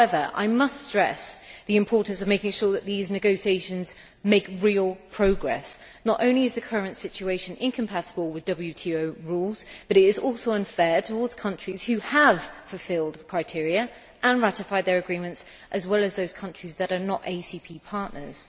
However, I must stress the importance of making sure these negotiations make real progress. Not only is the current situation incompatible with WTO rules, but it is also unfair towards countries that have fulfilled the criteria and ratified their agreements, as well as those countries that are not ACP partners.